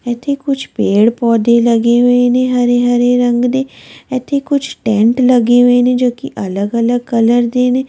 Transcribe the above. ਇੱਥੇ ਕੁੱਝ ਪੇੜ੍ਹ ਪੌਦੇ ਲੱਗੇ ਹੋਏ ਨੇ ਹਰੇ-ਹਰੇ ਰੰਗ ਦੇ ਇੱਥੇ ਕੁੱਝ ਟੈਂਟ ਲੱਗੇ ਹੋਏ ਨੇ ਜੋ ਕਿ ਅਲੱਗ-ਅਲੱਗ ਕਲਰ ਦੇ ਨੇ।